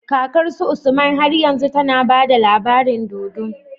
Kakar su usman har yanzu tAna bada labarin dodo